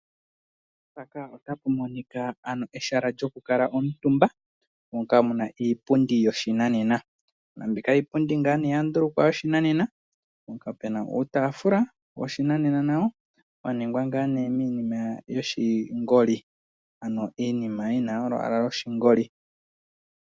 Mpaka ota pu monika ehala lyoku kala omutumba moka muna iipundi yoshinanena. Mbika iipundi ya ndulukwa yoshinanena mpoka puna uutafula woshinanena nawo wa ningwa ngaa ne minima yoshingoli. Ano iinima yina olwaala loshingoli.